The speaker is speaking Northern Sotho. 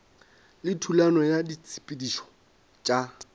le thulano ya ditshepetšo tša